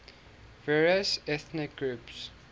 various ethnic groups